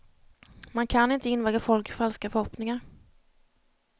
Man kan inte invagga folk i falska förhoppningar.